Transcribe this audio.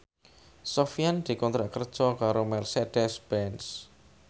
Sofyan dikontrak kerja karo Mercedez Benz